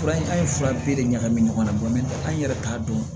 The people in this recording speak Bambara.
Fura an ye fura bɛɛ de ɲagami ɲɔgɔn na an yɛrɛ t'a dɔn